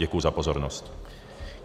Děkuji za pozornost.